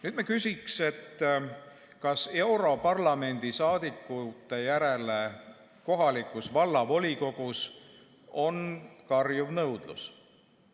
Nüüd küsiks, kas europarlamendi saadikute järele kohalikus vallavolikogus on karjuv nõudlus.